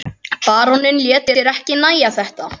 Baróninn lét sér ekki nægja þetta.